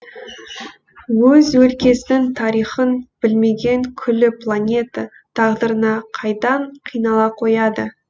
өз өлкесінің тарихын білмеген күллі планета тағдырына қайдан қинала қояды